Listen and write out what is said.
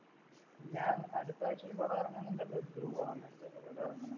ഞാൻ അടുത്താഴ്ചയിൽ പടം ഇറങ്ങുന്നുണ്ട് അത് ധ്രുവ്